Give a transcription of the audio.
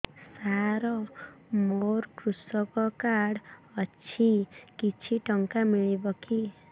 ସାର ମୋର୍ କୃଷକ କାର୍ଡ ଅଛି କିଛି ଟଙ୍କା ମିଳିବ କି